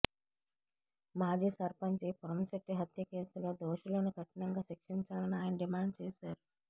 మాజీ సర్పంచి పురంశెట్టి హత్య కేసులో దోషులను కఠినంగా శిక్షించాలని ఆయన డిమాండ్ చేశారు